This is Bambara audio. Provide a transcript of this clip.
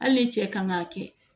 Hali ni cɛ kan k'a kɛ